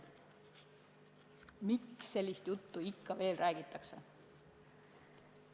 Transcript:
Miks sellist juttu ikka veel räägitakse?